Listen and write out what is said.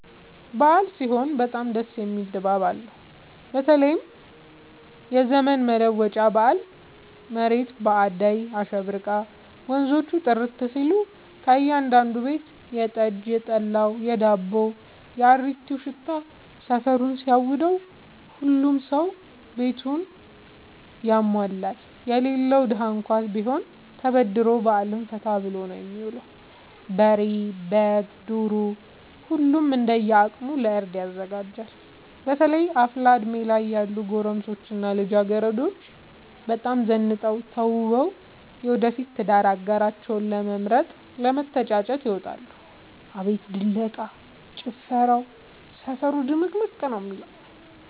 አበዓል ሲሆን በጣም ደስ የሚል ድባብ አለው በተለይም የዘመን መለወጫ በአል መሬት በአዳይ አሸብርቃ ወንዞቹ ጥርት ሲሉ ከእያዳዱ ቤት የጠጅ፣ የጠላ የዳቦው።፣ የአሪቲው ሽታ ሰፈሩን ሲያውደው። ሁሉም ሰው ቤቱን ያሟላል የሌለው ደሀ እንኳን ቢሆን ተበድሮ በአልን ፈታ ብሎ ነው የሚውለው። በሬ፣ በግ፣ ዶሮ ሁሉም እንደየ አቅሙ ለእርድ ያዘጋጃል። በተለይ አፍላ እድሜ ላይ ያሉ ጎረምሶች እና ልጃገረዶች በጣም ዘንጠው ተውበው የወደፊት የትዳር አጋራቸውን ለመምረጥ ለመተጫጨት ይወጣሉ። አቤት ድለቃ፣ ጭፈራው ሰፈሩ ድምቅምቅ ነው የሚለው።